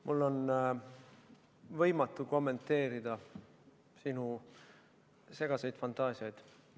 Mul on võimatu kommenteerida sinu segaseid fantaasiaid.